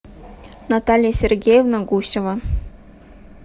наталья сергеевна гусева